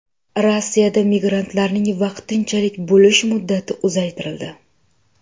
Rossiyada migrantlarning vaqtinchalik bo‘lish muddati uzaytirildi.